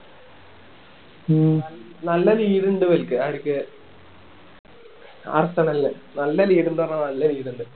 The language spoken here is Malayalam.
നല്ല lead ഇണ്ട് ഇവര്ക്ക് അടിക്ക് ആർസെണല് നല്ല lead ഇണ്ട് പറഞ്ഞാ നല്ല lead ഇണ്ട്